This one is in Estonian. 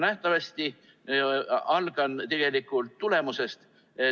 Alustan tulemusest.